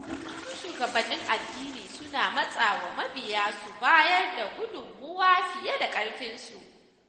Wasu shugabannin addini suna matsawa mabiya su bayar da gudunmawa fiye da ƙarfinsu.